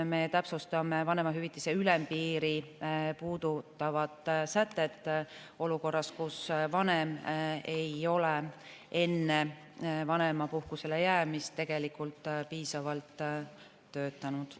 Me täpsustame vanemahüvitise ülempiiri puudutavad sätted olukorras, kus vanem ei ole enne vanemapuhkusele jäämist tegelikult piisavalt töötanud.